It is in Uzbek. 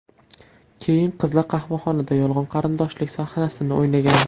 Keyin qizlar qahvaxonada yolg‘on qarindoshlik sahnasini o‘ynagan.